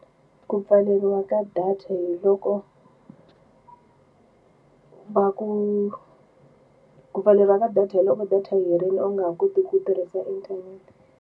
Ku pfaleriwa ka data hi loko va ku ku pfaleriwa ka data hi loko data yi herile u nga ha koti ku tirhisa inthanete.